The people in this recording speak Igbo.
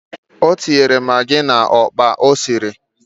O tinyere magị n'ọkpa o siri